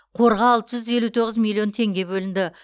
қорға алты жүз елу тоғыз миллион теңге бөлінді